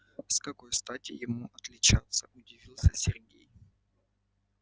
с какой стати ему отличаться удивился сергей